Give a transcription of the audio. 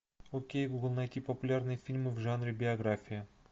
окей гугл найти популярные фильмы в жанре биография